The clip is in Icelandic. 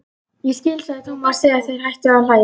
Ég skil sagði Thomas þegar þeir hættu að hlæja.